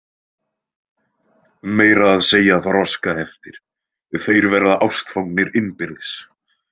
Meira að segja þroskaheftir, þeir verða ástfangnir innbyrðis!